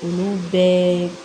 Olu bɛɛ